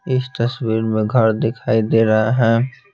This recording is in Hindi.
इस तस्वीर में घर दिखाई दे रहा है।